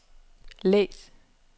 læs